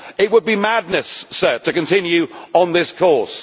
It would be madness to continue on this course.